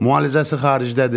Müalicəsi xaricdədir.